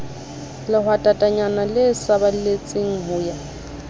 lehwatatanyana le saballetse ho ya